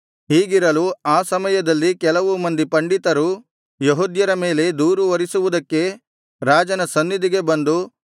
ಹೀಗಿರಲು ಆ ಸಮಯದಲ್ಲಿ ಕೆಲವು ಮಂದಿ ಪಂಡಿತರು ಯೆಹೂದ್ಯರ ಮೇಲೆ ದೂರು ಹೊರಿಸುವುದಕ್ಕೆ ರಾಜನ ಸನ್ನಿಧಿಗೆ ಬಂದು